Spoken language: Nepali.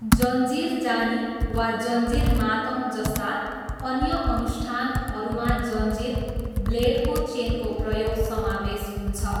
जन्जिर जानी वा जन्जिर मातम जस्ता अन्य अनुष्ठानहरूमा जन्जिर, ब्लेडको चेनको प्रयोग समावेश हुन्छ।